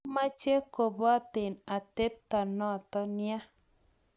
maameche kuboten atebto noto ya